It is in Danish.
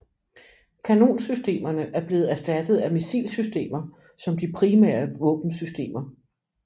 Kanonsystemerne er blevet erstattet af missilsystemer som de primære våbensystemer